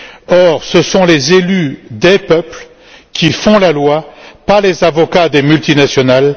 Or, ce sont les élus des peuples qui font la loi pas les avocats des multinationales.